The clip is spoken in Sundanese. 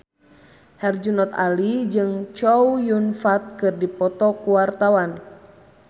Herjunot Ali jeung Chow Yun Fat keur dipoto ku wartawan